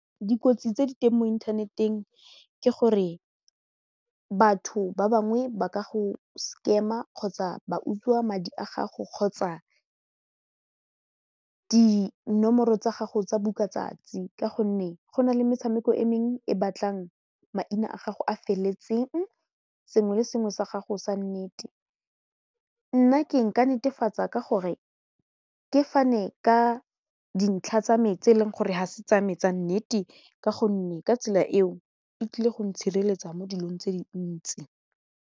Dikotsi tse di teng mo inthaneteng ke gore batho ba bangwe ba ka go scam-a kgotsa ba utswa madi a gago kgotsa dinomoro tsa gago tsa bukatsatsi ka gonne go na le metshameko e mengwe e batlang maina a gago a feleletseng sengwe le sengwe sa gago sa nnete nna ke nka netefatsa ka gore ke fane ka dintlha tsa me tse e leng gore ga se tsa me tsa nnete ka gonne ka tsela eo e tlile go ntshireletsa mo dilong tse dintsi.